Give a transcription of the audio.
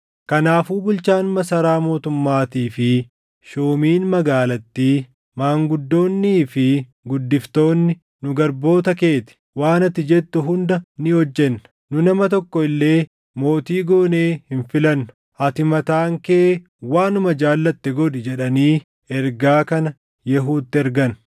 Kanaafuu bulchaan masaraa mootummaatii fi shuumiin magaalattii, maanguddoonnii fi guddiftoonni, “Nu garboota kee ti; waan ati jettu hunda ni hojjenna. Nu nama tokko illee mootii goonee hin filannu; ati mataan kee waanuma jaallatte godhi” jedhanii ergaa kana Yehuutti ergan.